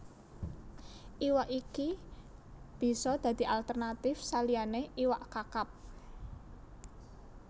Iwak iki bisa dadi alternatif saliyané iwak Kakap